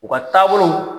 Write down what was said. U ka taabolo